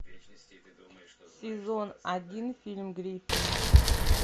сезон один фильм гриффины